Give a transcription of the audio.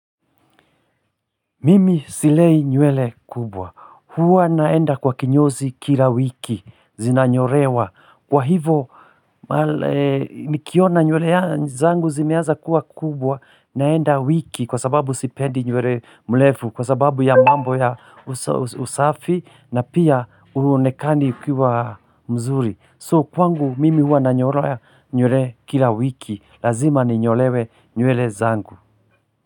Mimi silei nywele kubwa, huwa naenda kwa kinyozi kila wiki, zinanyorewa, kwa hivo nikiona nywele ya zangu zimeanza kuwa kubwa, naenda wiki kwa sababu sipendi nywele mrefu, kwa sababu ya mambo ya usafi na pia Huonekani ukiwa mzuri So kwangu mimi huwa nanyolewa nywele kila wiki, lazima ninyolewe nywele zangu.